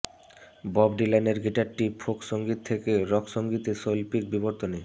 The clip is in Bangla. বব ডিলানের গিটারটি ফোক সংগীত থেকে রক সংগীতে শৈল্পিক বিবর্তনে